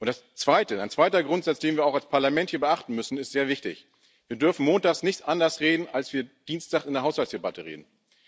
Und ein zweiter Grundsatz, den wir auch als Parlament hier beachten müssen, ist sehr wichtig Wir dürfen montags nicht anders reden, als wir dienstags in der Haushaltsdebatte reden.